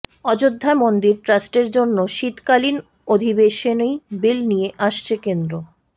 অযোধ্যা মন্দির ট্রাস্টের জন্য শীতকালীন অধিবেশনেই বিল নিয়ে আসছে কেন্দ্র